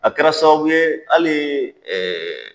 A kɛra sababu ye ali ɛɛ